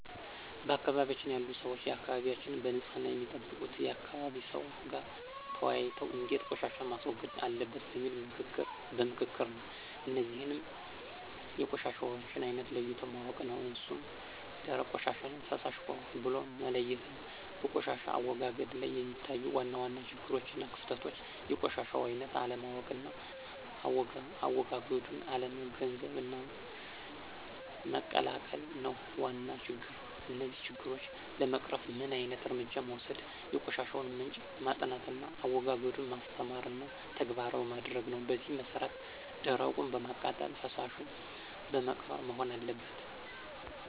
በአካባቢያችን ያሉ ሰዎች አካባቢያቸዉን በንፅህና የሚጠብቁት ከአካባቢ ሰው ጋር ተወያይተው እንዴት ቆሻሻን ማስወገድ አለበት በሚል በምክክር ነው። እነዚህንም የቆሻሻውን አይነት ለይቶ ማወቅ ነው እሱም ደረቅ ቆሻሻና ፈሳሽ ብሎ መለየት ነው። በቆሻሻ አወጋገድ ላይ የሚታዩ ዋና ዋና ችግሮችና ክፍተቶች የቆሻሻውን አይነት አለማወቅና አዎጋገዱን አለመገንዘብና መቀላቀል ነው ዋና ችግር። እነዚህን ችግሮች ለመቅረፍ ምን ዓይነት እርምጃ መወሰድ የቆሻሻውን ምንጭ ማጥናትና አዎጋገዱን ማስተማርና ተግባራዊ ማድረግ ነው በዚህ መሰረት ደረቁን በማቃጠልና ፈሳሹን በመቅበር መሆን አለበት።